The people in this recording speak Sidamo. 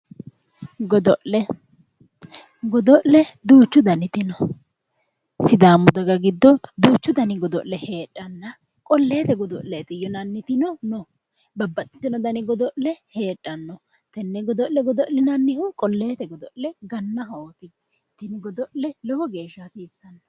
Godo'le godo'le duuchu daniti no sidaamu daga giddo duuchu dani godo'le heedhanna qolleete godo'leeti yinannitino no babbaxxitino dani godo'le heedhanno tenne godo'le godo'linannihu qolleete godo'le gannahooti tini godo'le lowo hasiissanno